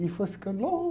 E foi ficando